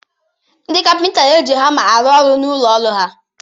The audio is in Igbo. Ndị Kapịnta n'eji hama arụ-ọrụ n'ụlọ ọrụ ha.